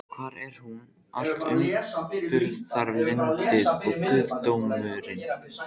Hvar er nú allt umburðarlyndið og guðdómurinn?